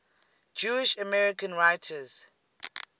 jewish american writers